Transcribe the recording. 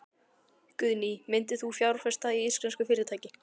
Guðný: Myndir þú fjárfesta í íslensku fyrirtæki?